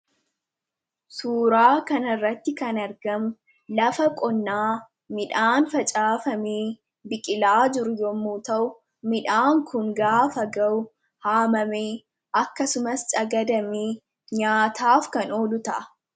Suuraa kanarratti kan argamu lafa qonnaa midhaan facaafamee biqilaa jiru yommuu ta'u, midhaan kun gaafa gahu haamamee akkasumas cagadamee nyaataaf kan oolu ta'a.